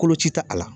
Koloci ta a la